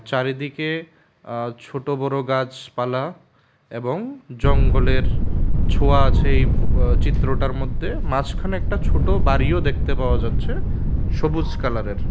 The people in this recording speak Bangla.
চারিদিকে আঃ ছোট বড়ো গাছপালা এবং জঙ্গলের ছোঁয়া আছে এই ফো-চিত্রটার মধ্যে মাঝখানে একটা ছোট বাড়িও দেখতে পাওয়া যাচ্ছে সবুজ কালারের।